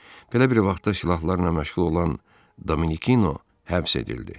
Belə bir vaxtda silahlarla məşğul olan Dominikino həbs edildi.